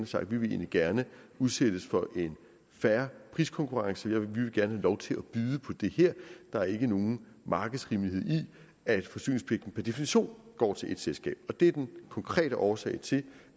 sagt vi vil egentlig gerne udsættes for en fair priskonkurrence vi vil gerne have lov til at byde på det her der er ikke nogen markedsrimelighed i at forsyningspligten per definition går til ét selskab og det er den konkrete årsag til